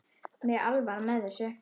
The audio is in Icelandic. Mér er alvara með þessu.